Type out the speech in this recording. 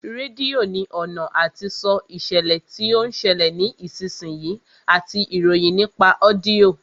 Rédíò ní ọ̀nà àti sọ ìṣẹ̀lẹ̀ tí ó ń ṣẹlẹ̀ ní ìsinsìnyí àti ìròyìn nípa ọ́díọ̀